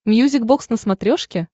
мьюзик бокс на смотрешке